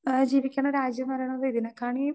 speaker 2 ജീവിക്കണ രാജ്യം പറയണത് ഇതിനെകാണീ